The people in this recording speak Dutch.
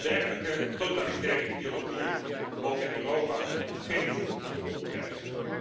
Dergelijke totalitaire ideologieën mogen in Europa geen voet aan de grond krijgen.